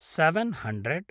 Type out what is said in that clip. seven hundred